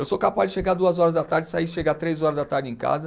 Eu sou capaz de chegar duas horas da tarde, sair e chegar três horas da tarde em casa.